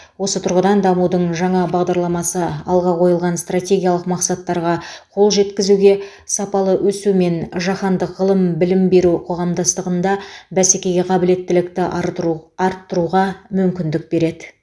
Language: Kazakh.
осы тұрғыдан дамудың жаңа бағдарламасы алға қойылған стратегиялық мақсаттарға қол жеткізуге сапалы өсу мен жаһандық ғылым білім беру қоғамдастығында бәсекеге қабілеттілікті артру арттыруға мүмкіндік береді